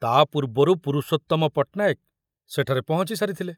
ତା ପୂର୍ବରୁ ପୁରୁଷୋତ୍ତମ ପଟନାୟକ ସେଠାରେ ପହଞ୍ଚିସାରିଥିଲେ।